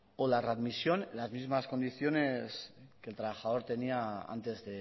o la readmisión en las mismas condiciones que el trabajador tenía antes